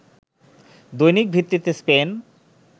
দৈনিক ভিত্তিতে স্পেন